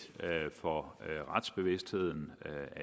for retsbevidstheden